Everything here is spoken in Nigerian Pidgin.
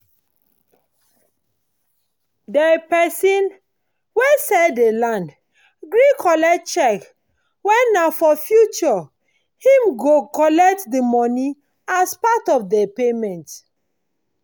dey pesin wen sell dey land gree collect cheque wen nah for future him go collect the money as part of dey payment